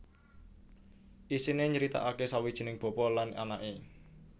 Isiné nyritakaké sawijining bapa lan anaké